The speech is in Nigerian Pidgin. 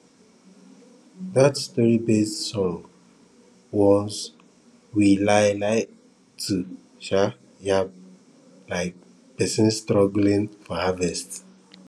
dat storybased song warns we lai lai to um yab um pesin struggling for harvest